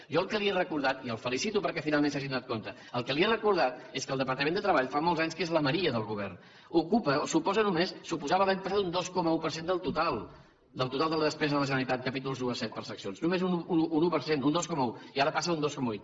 jo el que li he recordat i el felicito perquè finalment se n’hagin adonat és que el departament de treball fa molts anys que és la maria del govern ocupa suposa només suposava l’any passat un dos coma un per cent del total del total de la despesa de la generalitat capítols i a vii per seccions només un dos coma un i ara passa a un dos coma vuit